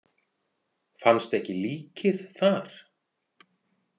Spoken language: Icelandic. Fannst ekki líkið þar?